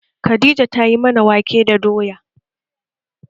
Khadija tayi mana wake da doya